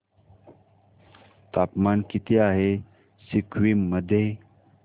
तापमान किती आहे सिक्किम मध्ये